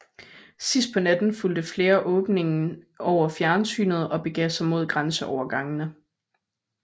Sidst på natten fulgte flere åbningen over fjernsynet og begav sig mod grænseovergangene